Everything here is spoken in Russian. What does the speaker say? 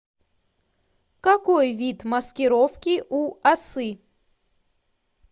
какой вид маскировки у осы